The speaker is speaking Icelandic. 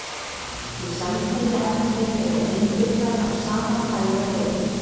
Í samkynja efni eru eindirnar af sama tagi og heildin.